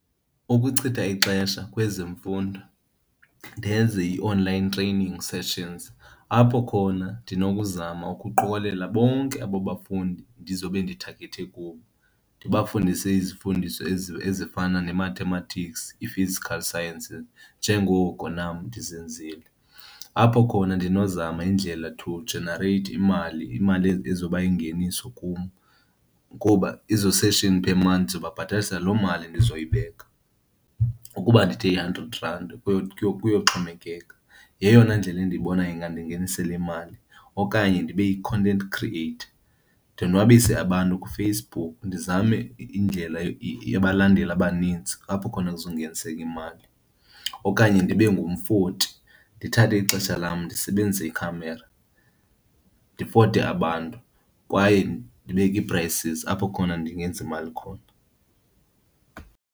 Ukuchitha ixesha kwezemfundo ndenze ii-online training sessions apho khona ndinokuzama ukuqokelela bonke abo bafundi ndizobe ndithagakhethe kubo ndibafundise izifundiso ezi, ezifana ne-mathematics, i-physical sciences njengoko nam ndizenzile. Apho khona ndinozama indlela to generate imali, imali ezoba yingeniso kum kuba ezo sessions per month ndizobabhatalisa loo mali ndizoyibeka. Ukuba ndithe i-hundred rand kuyoxhomekeka, yeyona ndlela endiyibona ingandingenisela imali. Okanye ndibe yi-content creator, ndonwabise abantu kuFacebook ndizame indlela, abalandeli abaninzi apho khona ndizongeniseka imali. Okanye ndibe ngumfoti, ndithathe ixesha lam ndisebenzise ikhamera ndifote abantu kwaye ndibeke ii-prices apho khona ndingenza imali khona.